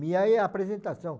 Miai é apresentação.